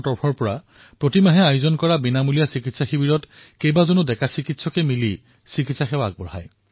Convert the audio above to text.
কিছুদিন পূ্ৰ্বে আমাৰ দলৰ কিছুমান কাৰ্যকৰ্তাই মোক জনালে যে চহৰৰ কিছুসংখ্যক চিকিৎসকে শিবিৰ স্থাপন কৰি নিৰলসভাৱে ৰোগীক সেৱা প্ৰদান কৰি আছে